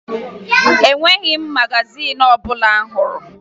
O nweghi magazin ọbụla m hụrụ